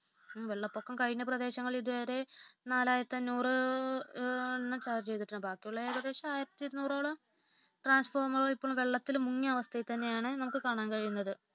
വെള്ളപ്പൊക്കം കഴിഞ്ഞ പ്രദേശങ്ങളിൽ ഇതുവരെ നാലായിരത്തിഅഞ്ഞൂറോളം ചാർജ് ചെയ്തിട്ടുണ്ട് ബാക്കിയുള്ള ഏകദേശം ആയിരത്തിഇരുനൂറോളം ട്രാൻസ്ഫോർമറുകൾ വെള്ളത്തിൽ മുങ്ങിയ അവസ്ഥയിൽ തന്നെയാണ് നമുക്ക് കാണാൻ കഴിയുന്നത്